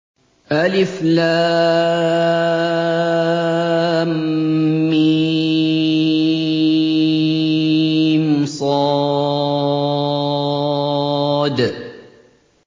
المص